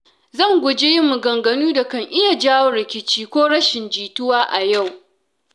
Zan guji yin maganganu da ka iya jawo rikici ko rashin jituwa a yau.